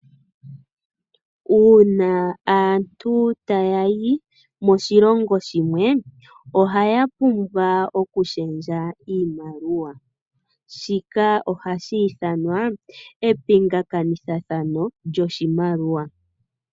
Uuna aantu taya yi moshilongo shimwe ohaya pumbwa okushendja iimaliwa shika ohashi ithanwa mepingakanitho lyoshimaliwa.